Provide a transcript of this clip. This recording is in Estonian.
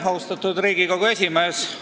Austatud Riigikogu esimees!